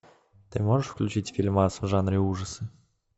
ты можешь включить фильмас в жанре ужасы